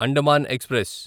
Andaman express